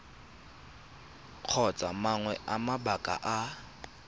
kgotsa mangwe a mabaka a